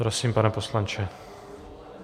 Prosím, pane poslanče.